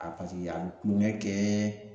A paseke yan a be kulongɛ kɛɛ